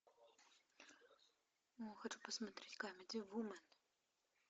хочу посмотреть камеди вумен